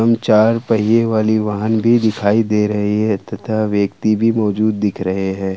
चार पहिए वाली वाहन भी दिखाई दे रही है तथा व्यक्ति भी मौजूद दिख रहे हैं।